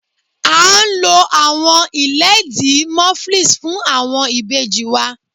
A ń lọ̀ awọn ilẹ̀díí Moflix fún awọn ibèjì wa.